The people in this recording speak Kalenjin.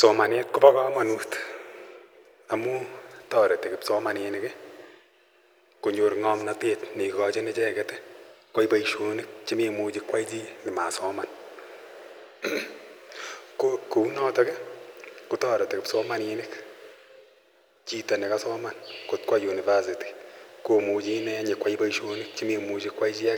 Somanet kobo kamanut amun toreti kipsomaninik konyor ng'omnotet neikochin icheket koyai boisionik chemoimuchi koyai chi nema soman ko kou notok kotoreti kipsomaninik koba university ,kora